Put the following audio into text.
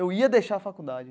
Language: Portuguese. Eu ia deixar a faculdade.